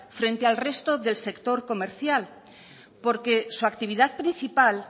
frente al resto del sector comercial porque su actividad principal